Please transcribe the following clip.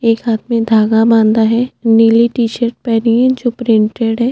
एक हाथ में धागा बांधा है नीली टी शर्ट पहनी है जो प्रिंटेड है।